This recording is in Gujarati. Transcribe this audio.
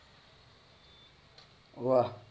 વાહ્હ